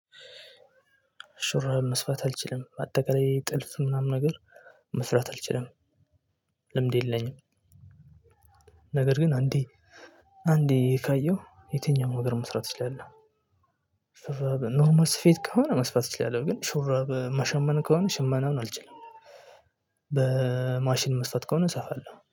ሹራብ መስፋት አልችልም አጠቃላይ ጥልፍ ምናምን ነገር መስራት አልችልም። ልምድ የለኝም። ነገር ግን አንዴ አንዴ ካየሁ የትኛውም ነገር መስራት ይችላል እችላለሁ። ሹራብ ኖርማል ስፌት ከሆነ መስፋት እችላለሁ ግን ሹራብ መሸመን ከሆነ ሽመና ምናምን አልችልም። በማሽን መስፋት ከሆነ እሰፋለሁ